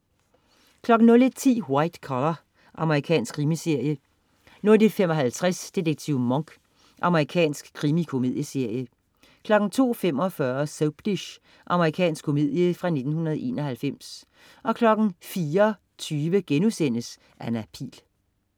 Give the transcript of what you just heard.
01.10 White Collar. Amerikansk krimiserie 01.55 Detektiv Monk. Amerikansk krimikomedieserie 02.45 Soapdish. Amerikansk komedie fra 1991 04.20 Anna Pihl*